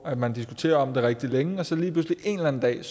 at man diskuterer det rigtig længe og så lige pludselig en eller anden dag